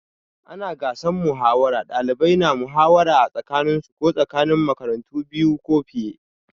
A ranar gasar muhawara, ɗalibai na muhawara a tsakaninsu ko tsakanin makarantu biyu ko fiye.